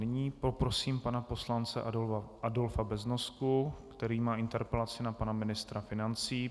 Nyní poprosím pana poslance Adolfa Beznosku, který má interpelaci na pana ministra financí.